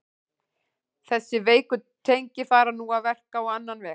Þessi veiku tengi fara nú að verka á annan veg.